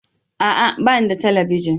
A'a! Ba ni da talabijin.